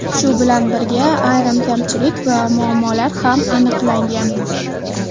Shu bilan birga, ayrim kamchilik va muammolar ham aniqlangan.